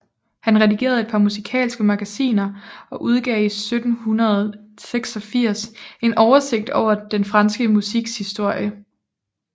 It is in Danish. Han redigerede et par musikalske magasiner og udgav 1786 en oversigt over den franske musiks historie